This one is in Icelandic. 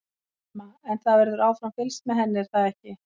Telma: En það verður áfram fylgst með henni er það ekki?